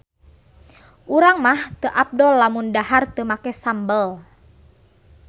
Urang mah teu afdol lamun dahar teu make sambel